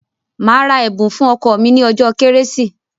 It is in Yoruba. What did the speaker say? Màá ra ẹ̀bùn fún ọkọ mi ní ọjọ́ kérésì.